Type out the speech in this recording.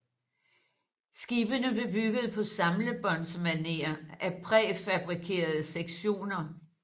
Skibene blev bygget på samlebåndsmaner af præfabrikerede sektioner